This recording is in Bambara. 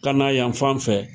Ka na yan fan fɛ.